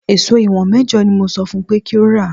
Èso ìwọ̀n mẹ́jọ ni mo sọ fún un pé kí ó rà